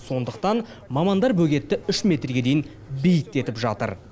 сондықтан мамандар бөгетті үш метрге дейін биіктетіп жатыр